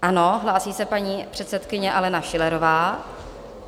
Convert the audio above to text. Ano, hlásí se paní předsedkyně Alena Schillerová.